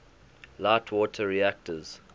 light water reactors